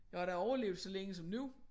Jeg har da overlevet så længe som nu